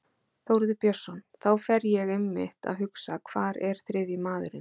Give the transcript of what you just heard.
Þórður Björnsson: Þá fer ég einmitt að hugsa hvar er þriðji maðurinn?